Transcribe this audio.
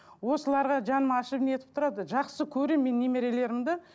осыларға жаным ашып не етіп тұрады жақсы көремін мен немерелерімді